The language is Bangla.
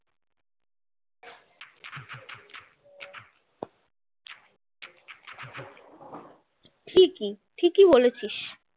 ঠিকই ঠিকই বলেছিস